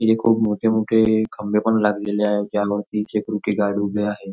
हे खूप मोठे मोठे खंबे पण लागलेले आहे त्यावरती सेक्युरिटी गार्ड उभे आहे.